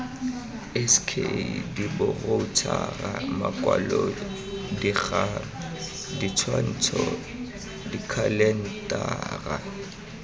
sk diboroutšhara makwalodikgang ditshwantsho dikhalentara